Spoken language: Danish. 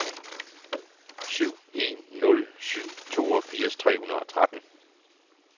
syv en nul syv toogfirs tre hundrede og tretten